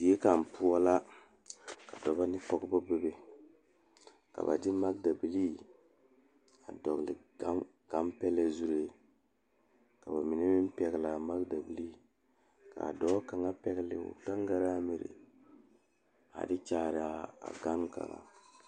Die kaŋa poɔ la pɔgeba ane bibiiri la ka bondire a kabɔɔti poɔ ka talaare be a be poɔ kaa kodo vaare meŋ be a be kaa bie kaŋa a iri gaŋe a de Kyaara a gane kaŋ.